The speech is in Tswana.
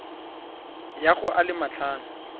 ya go a le matlhano